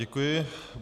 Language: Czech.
Děkuji.